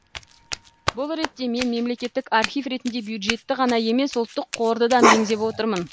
бұл ретте мен мемлекеттік актив ретінде бюджетті ғана емес ұлттық қорды да меңзеп отырмын